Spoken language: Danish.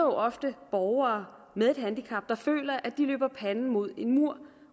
ofte borgere med et handicap der føler at de løber panden mod en mur